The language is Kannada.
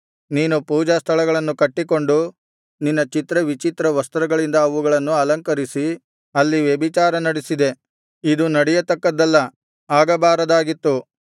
ನೀನು ಪೂಜಾ ಸ್ಥಾನಗಳನ್ನು ಕಟ್ಟಿಕೊಂಡು ನಿನ್ನ ಚಿತ್ರವಿಚಿತ್ರ ವಸ್ತ್ರಗಳಿಂದ ಅವುಗಳನ್ನು ಅಲಂಕರಿಸಿ ಅಲ್ಲಿ ವ್ಯಭಿಚಾರ ನಡಿಸಿದೆ ಇದು ನಡೆಯತಕ್ಕದ್ದಲ್ಲ ಆಗಬಾರದಾಗಿತ್ತು